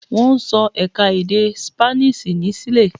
Wọ́n ń sọ ẹ̀ka-èdè Sípáníṣì ní Ṣile.